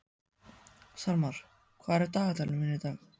Salmar, hvað er í dagatalinu mínu í dag?